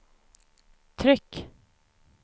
tryck